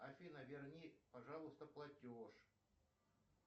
афина верни пожалуйста платеж